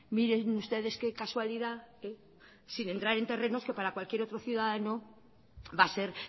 miren ustedes qué casualidad sin entrar en terrenos que para cualquier otro ciudadano va a ser